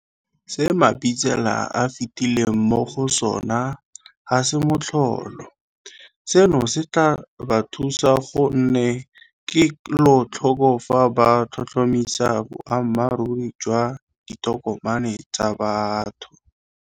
Se Mabitsela a fetileng mo go sona ga se motlholo. Seno se tla ba thusa go nne kelotlhoko fa ba tlhotlhomisa boammaruri jwa ditokomane tsa motho.